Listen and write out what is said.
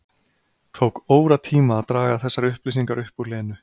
Tók óratíma að draga þessar upplýsingar upp úr Lenu.